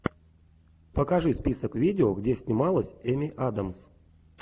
покажи список видео где снималась эми адамс